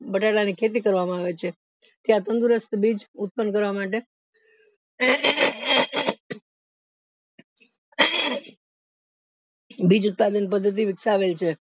બટાકા ની ખેતી કરવામાં આવે છે ત્યાં તંદુરસ્ત બીજ ઉત્પન્ન કરવા માટે બીજ ઉત્પાદન પદ્ધતિ વિકસાવેલ છે